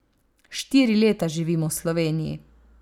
Štiri leta živim v Sloveniji.